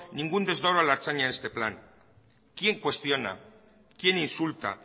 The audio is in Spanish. ningún a la ertzaina en este plan quién cuestiona quién insulta